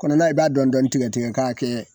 Kɔnɔla i b'a dɔn dɔɔnin tigɛ-tigɛ k'a kɛ